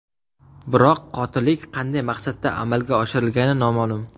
Biroq qotillik qanday maqsadda amalga oshirilgani noma’lum.